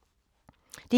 DR1